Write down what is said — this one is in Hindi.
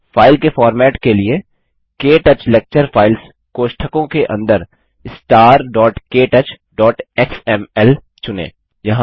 फाइल के फॉर्मेट के लिए क्टच लेक्चर फाइल्स कोष्ठकों के अंदर starktouchएक्सएमएल चुनें